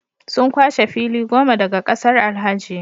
Sun kwashe fili goma daga kasar Alhaji